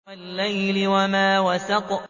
وَاللَّيْلِ وَمَا وَسَقَ